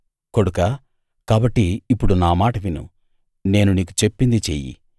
కొడుకా కాబట్టి ఇప్పుడు నా మాట విను నేను నీకు చెప్పింది చెయ్యి